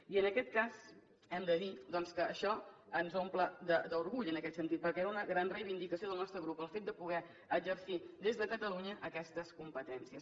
i en aquest cas hem de dir que això ens omple d’orgull en aquest sentit perquè era una gran reivindicació del nostre grup el fet de poder exercir des de catalunya aquestes competències